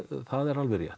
er alveg rétt